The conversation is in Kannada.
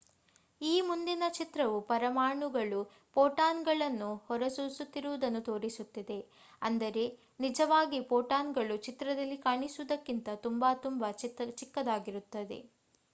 ಈ ಮುಂದಿನ ಚಿತ್ರವು ಪರಮಾಣುಗಳು ಪೋಟಾನ್ ಗಳನ್ನು ಹೊರಸೂಸುತ್ತಿರುವುದನ್ನು ತೋರಿಸುತ್ತಿದೆ ಅಂದರೆ ನಿಜಾವಾಗಿ ಪೋಟಾನ್ಗಳು ಚಿತ್ರದಲ್ಲಿ ಕಾಣಿಸುವುದಕ್ಕಿಂತ ತುಂಬಾ ತುಂಬಾ ಚಿಕ್ಕದಾಗಿರುತ್ತವೆ